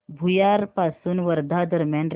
भुयार पासून वर्धा दरम्यान रेल्वे